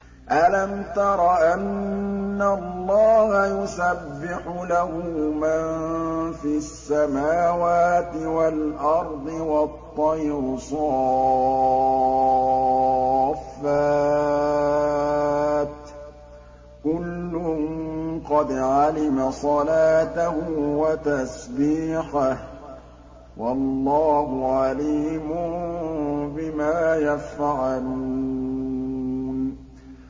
أَلَمْ تَرَ أَنَّ اللَّهَ يُسَبِّحُ لَهُ مَن فِي السَّمَاوَاتِ وَالْأَرْضِ وَالطَّيْرُ صَافَّاتٍ ۖ كُلٌّ قَدْ عَلِمَ صَلَاتَهُ وَتَسْبِيحَهُ ۗ وَاللَّهُ عَلِيمٌ بِمَا يَفْعَلُونَ